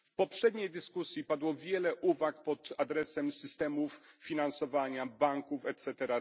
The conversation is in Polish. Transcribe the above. W poprzedniej dyskusji padło wiele uwag pod adresem systemów finansowania banków itp.,